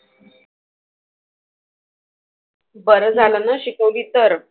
बरं झालंना शिकवली तर.